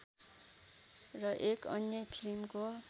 र एक अन्य फिल्मको